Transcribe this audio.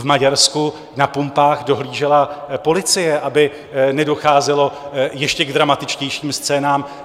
V Maďarsku na pumpách dohlížela policie, aby nedocházelo k ještě dramatičtějším scénám.